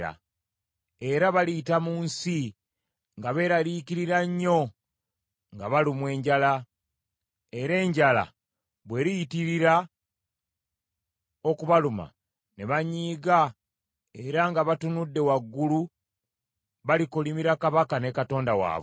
Era baliyita mu nsi nga beeraliikirira nnyo nga balumwa enjala; era enjala bweriyitirira okubaluma ne banyiiga era nga batunudde waggulu balikolimira kabaka ne Katonda waabwe.